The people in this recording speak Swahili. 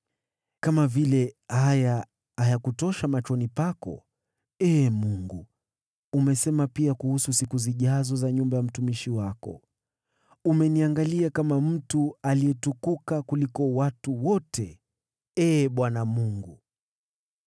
Kana kwamba hili halitoshi machoni pako, Ee Mungu, umenena pia kuhusu siku zijazo za nyumba ya mtumishi wako. Umeniangalia kama mtu aliyetukuka kuliko watu wote, Ee Bwana Mungu.